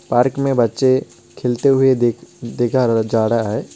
Park में बच्चे खेलते हुए देख दिखा जा रहा है.